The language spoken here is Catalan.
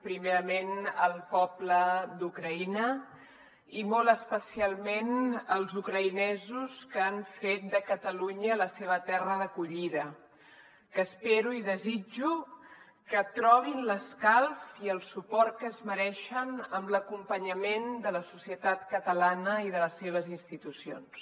primerament al poble d’ucraïna i molt especialment als ucraïnesos que han fet de catalunya la seva terra d’acollida que espero i desitjo que trobin l’escalf i el suport que es mereixen amb l’acompanyament de la societat catalana i de les seves institucions